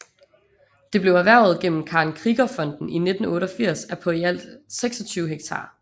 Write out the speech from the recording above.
Det blev erhvervet gennem Karen Krieger Fonden i 1988 og er på i alt 26 hektar